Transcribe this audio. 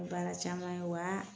Baara caman ye wa